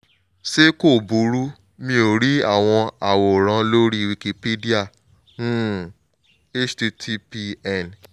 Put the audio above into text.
ṣé kò burú? mo rí àwọn àwòrán lórí wikipedia um http n